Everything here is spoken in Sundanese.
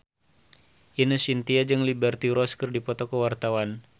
Ine Shintya jeung Liberty Ross keur dipoto ku wartawan